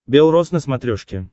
белрос на смотрешке